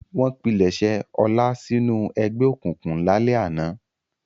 Wọ́n pilẹ̀sẹ̀ Ọlá sínú ẹgbẹ́ òkùnkùn lálẹ́ àná.